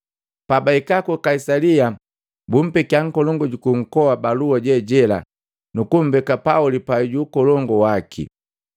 Pabahika ku Kaisalia bumpekia nkolongu juku nkoa balua je jela nu kumbeka Pauli pai ju ukolongu waki.”